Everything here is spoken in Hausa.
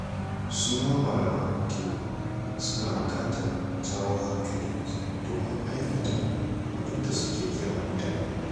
Su ma malaman addini suna buƙatar jawo hankali domin aikata abin da suke kiran mutane.